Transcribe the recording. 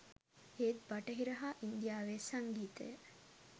ඒත් බටහිර හා ඉන්දියාවේ සංගීතය